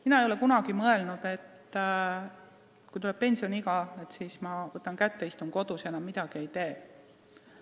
Mina ei ole kunagi mõelnud, et kui tuleb pensioniiga, siis ma võtan kätte ja istun kodus ja enam midagi ei tee.